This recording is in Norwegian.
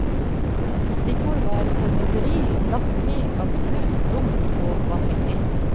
Stikkord var formynderi, latterlig, absurd, dumt og vanvittig.